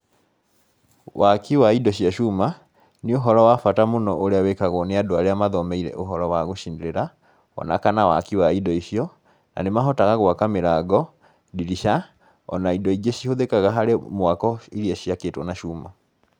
Waaki wa indo cia cuma nĩ ũhoro wa bata mũno ũrĩa wĩkagwo nĩ andũ arĩa mathomeire ũhoro wa gũcinĩrĩra, o na kana waaki wa indo icio, na nĩ mahotaga gwaka mĩrango, ndirica,o na indo ingĩ cihũthĩkaga harĩ mwako iria ciakĩtwo na cuma.